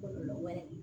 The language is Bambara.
Kɔlɔlɔ wɛrɛ